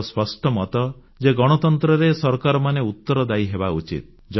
ମୋର ସ୍ପଷ୍ଟ ମତ ଯେ ଗଣତନ୍ତ୍ରରେ ସରକାରମାନେ ଉତ୍ତରଦାୟୀ ହେବା ଉଚିତ୍